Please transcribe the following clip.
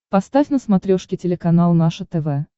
поставь на смотрешке телеканал наше тв